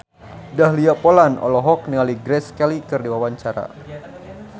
Dahlia Poland olohok ningali Grace Kelly keur diwawancara